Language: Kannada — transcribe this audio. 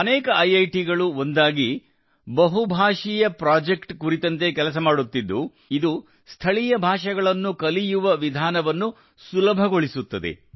ಅನೇಕ ಐಐಟಿಗಳು ಒಂದಾಗಿ ಬಹುಭಾಷೀಯ ಪ್ರಾಜೆಕ್ಟ್ ಕುರಿತಂತೆ ಕೆಲಸ ಮಾಡುತ್ತಿದ್ದು ಇದು ಸ್ಥಳೀಯ ಭಾಷೆಗಳನ್ನು ಕಲಿಯುವ ವಿಧಾನವನ್ನು ಸುಲಭಗೊಳಿಸುತ್ತದೆ